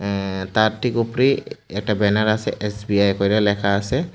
অ্যা তার ঠিক উপরেই একটা ব্যানার আসে এস_বি_আই কইরা লেখা আসে ।